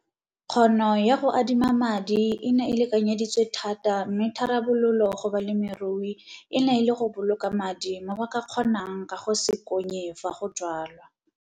Kgono ya go adima madi e ne e lekanyeditswe thata mme tharabololo go balemirui e ne e le go boloka madi mo ba ka kgonang ka go se konye fa go jwalwa.